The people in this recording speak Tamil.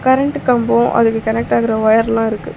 கரண்ட் கம்போ அதுக்கு கனெக்ட் ஆகுற ஒயர் எல்லா இருக்கு.